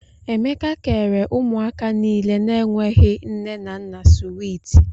Emeka kèrè ụmụaka niile na -enweghi nne na nna swiiti.